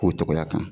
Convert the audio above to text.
K'o tɔgɔya kan